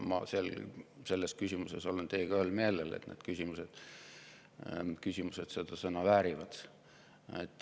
Ma olen teiega ühel meelel, et need küsimused seda sõna väärivad.